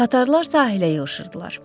Tatarlar sahilə yığışırdılar.